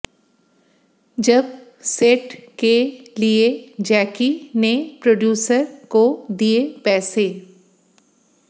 जब सेट के लिए जैकी ने प्रोड्यूसर को दिए पैसे